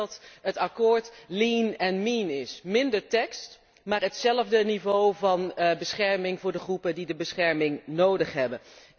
Ik denk dat het akkoord lean and mean is, minder tekst, maar hetzelfde niveau van bescherming voor de groepen die de bescherming nodig hebben.